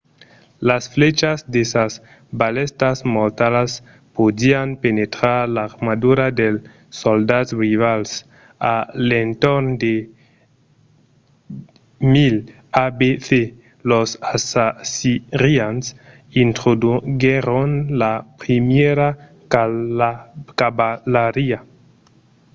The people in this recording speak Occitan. las flèchas de sas balèstas mortalas podián penetrar l’armadura dels soldats rivals. a l’entorn de 1000 abc los assirians introduguèron la primièra cavalariá